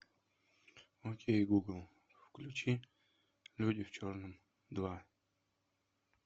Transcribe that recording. окей гугл включи люди в черном два